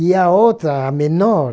E a outra, a menor,